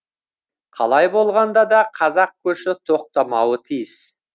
қалай болғанда да қазақ көші тоқтамауы тиіс